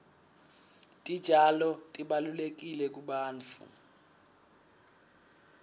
titjalo tibalulekile kubantfu